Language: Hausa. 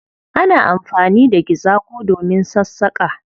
Ana anfani da gizago domin sassaƙa.